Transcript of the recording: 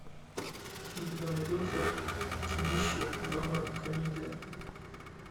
у тебя найдется кинище жанра комедия